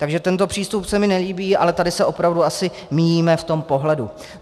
Takže tento přístup se mi nelíbí, ale tady se opravdu asi míjíme v tom pohledu.